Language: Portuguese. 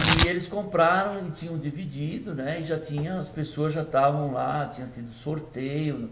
E eles compraram e tinham dividido, né, e já tinha, as pessoas já estavam lá, tinha tido sorteio.